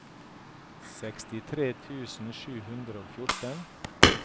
sekstitre tusen sju hundre og fjorten